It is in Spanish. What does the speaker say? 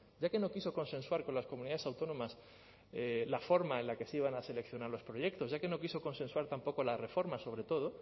ya que no quiso consensuar con las comunidades autónomas la forma en la que se iban a seleccionar los proyectos ya que no quiso consensuar tampoco la reforma sobre todo